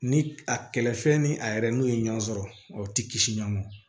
Ni a kɛlɛ fɛn ni a yɛrɛ n'o ye ɲɔgɔn sɔrɔ o ti kisi ɲɔgɔn ma